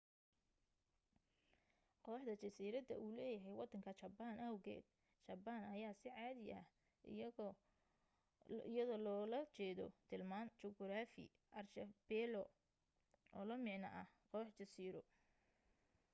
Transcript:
kooxda jasiirada uu leeyahay wadanka jaban awgeed jabaan ayaa si cadi ah iyadoo loogala jeedo tilmaan juquraafi archipelago oo la micna ah koox jasiiro